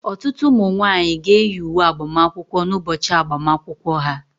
Ọtụtụ ụmụ nwanyị ga-eyi uwe agbamakwụkwọ n'ụbọchị agbamakwụkwọ ha